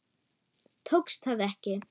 Tókst það ekki.